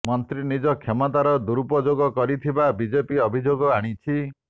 ମନ୍ତ୍ରୀ ନିଜ କ୍ଷମତାର ଦୁରୁପଯୋଗ କରିଥିବା ବିଜେପି ଅଭିଯୋଗ ଆଣିଛି